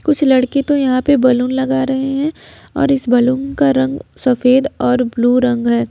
कुछ लड़के तो यहां पे बैलून लगा रहे हैं और इस बैलून का रंग सफेद और ब्लू रंग है।